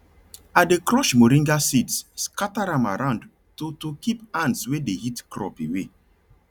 i dey crush moringa seeds scatter am around to to keep ants wey dey eat crop away